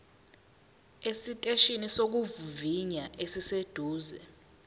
esiteshini sokuvivinya esiseduze